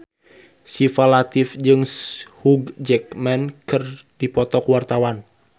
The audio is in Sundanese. Syifa Latief jeung Hugh Jackman keur dipoto ku wartawan